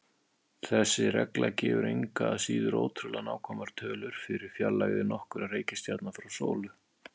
Þessi regla gefur engu að síður ótrúlega nákvæmar tölur fyrir fjarlægðir nokkurra reikistjarna frá sólu.